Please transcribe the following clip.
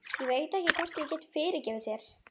Ég veit ekki hvort ég get fyrirgefið þér.